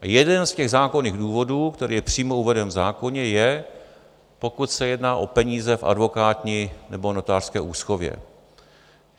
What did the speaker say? Jeden z těch zákonných důvodů, který je přímo uveden v zákoně, je, pokud se jedná o peníze v advokátní nebo notářské úschově.